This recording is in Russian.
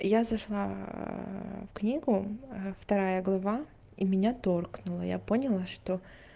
я зашла в книгу вторая глава и меня торкнуло я поняла что